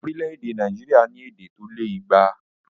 Orílẹ̀èdè Nàìjíríà ní èdè tó lé igba